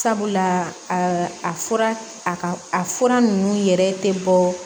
Sabula a fura a ka a fura ninnu yɛrɛ tɛ bɔ